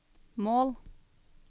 mål